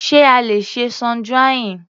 Sé a le ṣe sun drying?